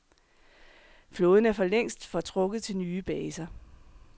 Flåden er for længst fortrukket til nye baser.